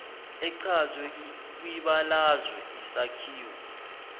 echazwe kwibalazwe isakhiwo